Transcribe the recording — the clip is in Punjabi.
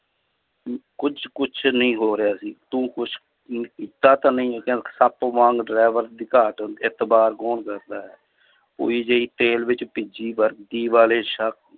ਅਮ ਕੁੱਝ ਕੁਛ ਨਹੀਂ ਹੋ ਰਿਹਾ ਸੀ ਤੂੰ ਕੁਛ ਕੀਤਾ ਤਾਂ ਨਹੀਂ ਕਹਿੰਦਾ driver ਇਤਬਾਰ ਕੌਣ ਕਰਦਾ ਹੈ ਤੇਲ ਵਿੱਚ ਭਿੱਜੀ ਵਰਦੀ ਵਾਲੇ ਸ~